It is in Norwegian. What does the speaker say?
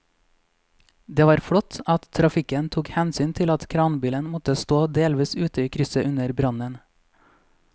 Det var flott at trafikken tok hensyn til at kranbilen måtte stå delvis ute i krysset under brannen.